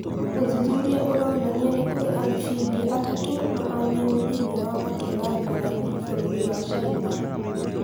Ũthuthuria ũronania nĩkũri amphibia atatu mahanaine thĩine wa matũũra ngũrani bũruri wa Caina